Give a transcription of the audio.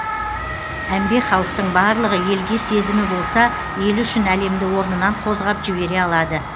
әмбе халықтың барлығы елге сезімі болса елі үшін әлемді орнынан қозғап жібере алады